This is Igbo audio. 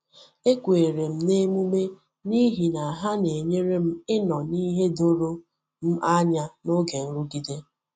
E kwèrè m n’emume n’ihi na ha na-enyere m inọ n’ihe doro m anya n’oge nrụgide.